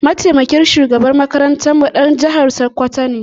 Mataimakin shugaban makarantarmu ɗan jihar Sokoto ne.